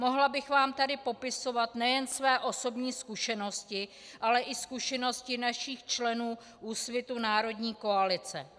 Mohla bych vám tady popisovat nejen své osobní zkušenosti, ale i zkušenosti našich členů Úsvitu - Národní koalice.